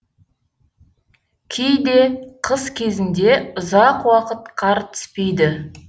кейде қыс кезінде ұзақ уақыт қар түспейді